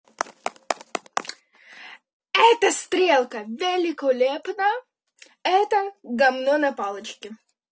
эта стрелка великолепна эта гавно на палочке